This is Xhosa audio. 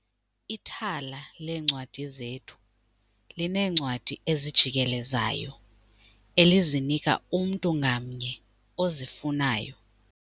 Ithala leencwadi zethu lineencwadi ezijikelezayo elizinika umntu ngamnye ozifunayo.